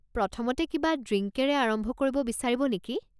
প্ৰথমতে কিবা ড্ৰিংকেৰে আৰম্ভ কৰিব বিচাৰিব নেকি?